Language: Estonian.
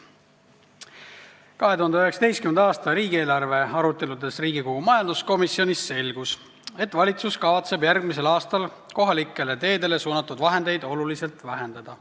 2019. aasta riigieelarve aruteludes majanduskomisjonis selgus, et valitsus kavatseb järgmisel aastal kohalikele teedele suunatud vahendeid oluliselt vähendada.